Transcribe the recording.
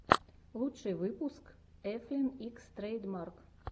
лучший выпуск эфлин икс трэйдмарк